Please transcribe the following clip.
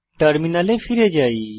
টার্মিনালে ফিরে যাই